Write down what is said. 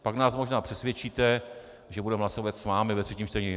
Pak nás možná přesvědčíte, že budeme hlasovat s vámi ve třetím čtení.